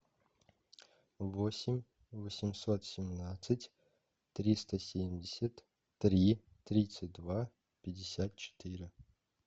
восемь восемьсот семнадцать триста семьдесят три тридцать два пятьдесят четыре